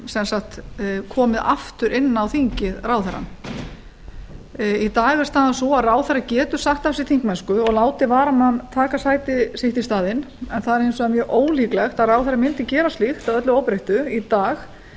sem sagt komið aftur inn á þingið ráðherrann í dag er staðan sú að ráðherra getur sagt af sér þingmennsku og látið varamann taka sæti sitt í staðinn en það er hins vegar mjög ólíklegt að ráðherra mundi gera slíkt að öllu óbreyttu í dag